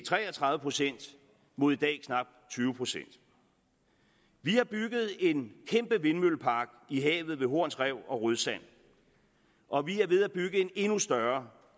tre og tredive procent mod i dag knapt tyve procent vi har bygget en kæmpe vindmøllepark i havet ved horns rev og rødsand og vi er ved at bygge en endnu større